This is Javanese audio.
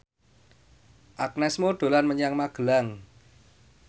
Agnes Mo dolan menyang Magelang